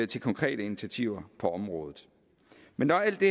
til konkrete initiativer på området men når alt det